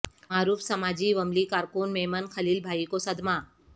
معروف سماجی وملی کارکن میمن خلیل بھائی کو صدمہ